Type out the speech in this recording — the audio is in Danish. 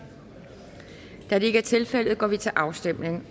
da det ikke er tilfældet går vi til afstemning